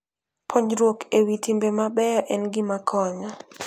Puonjruok e wi timbe mabeyo en gima konyo.